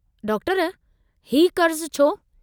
Doctor हीउ कर्जु छो?